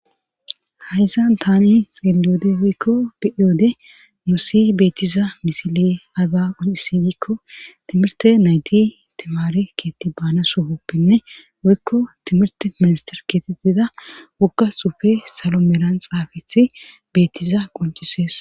hayssan tani xeelliode woykko be7eyoode musi beettiza misile haza unisigikko timirte nayti timaari keetti baana sohoppenne woykko timirte minister keetettida wokka xufe salo meran xaafethi beettiza qoncisees